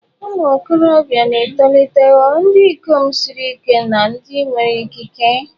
Ụmụ okorobia na-etolite ghọọ ndị ikom siri ike na ndị nwere ikike.